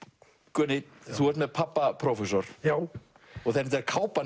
Gunni þú ert með pabba prófessor og kápan